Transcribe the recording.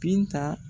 Binta